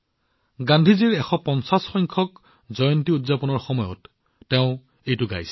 গান্ধীজীৰ ১৫০ তম জন্ম জয়ন্তী উদযাপনৰ সময়ত তেওঁ এইটো গাইছিল